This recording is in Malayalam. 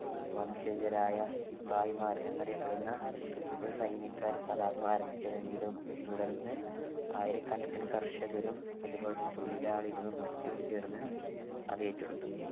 വംശജരായ സിപ്പാഹിമാർ എന്നറിയപ്പെടുന്ന ഒരു സൈനിക കലാപം ആരംഭിച്ചതെങ്കിലും തുടർന്ന് ആയിരക്കണക്കിന് കർഷകരും അതുപോലെതന്നെ തൊഴിലാളികളും മറ്റും ചേർന്ന് അത് ഏറ്റെടുത്തു